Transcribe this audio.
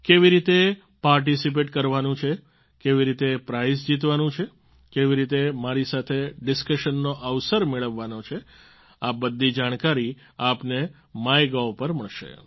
કેવી રીતે પાર્ટિસિપેટ કરવાનું છે કેવી રીતે પ્રાઈઝ જીતવાનું છે કેવી રીતે મારી સાથે ડિસ્કશનનો અવસર મેળવવાનો છે આ બધી જાણકારી આપને માયગોવ પર મળશે